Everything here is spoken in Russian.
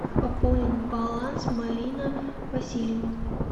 пополнить баланс марина васильева